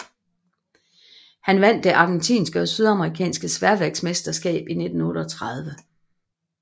Han vandt det argentinske og sydamerikanske sværvægtsmesterskab i 1938